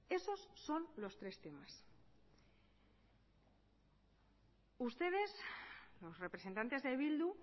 esos son los tres temas ustedes los representantes de bildu